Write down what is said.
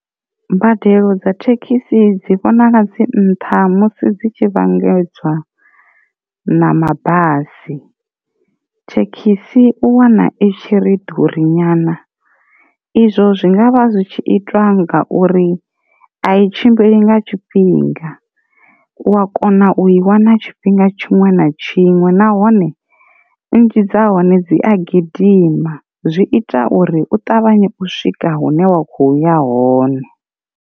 Mbadelo dza thekhisi dzi vhonala dzi nṱha musi dzi tshi vhangedzwa na mabasi, thekhisi u wana itshi ri ḓuri nyana, izwo zwi ngavha zwi tshi itwa nga uri a i tshimbili nga tshifhinga u wa kona u i wana tshifhinga tshiṅwe na tshiṅwe nahone nnzhi dza hone dzi a gidima zwi ita uri u ṱavhanya u swika hune wa kho uya hone.